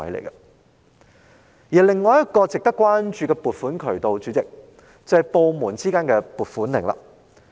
主席，另一個值得關注的撥款渠道是部門之間的撥款令。